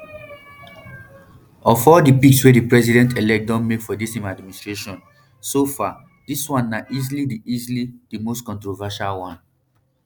of all di picks wey di presidentelect don make for im administration so far dis one na easily di easily di most controversial one